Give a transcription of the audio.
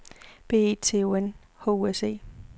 B E T O N H U S E